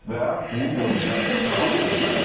Və bu görüşlər davam etməlidir.